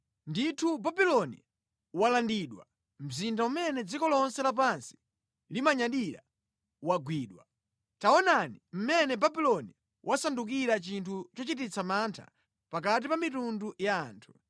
“Ndithu Babuloni walandidwa, mzinda umene dziko lonse lapansi limanyadira wagwidwa! Taonani, mmene Babuloni wasandukira chinthu chochititsa mantha pakati pa mitundu ya anthu!